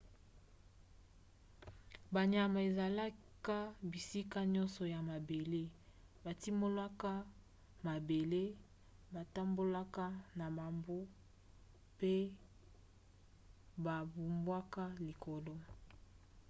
banyama ezalaka bisika nyonso na mabele. batimolaka mabele batambolaka na bambu pe bapumbwaka likolo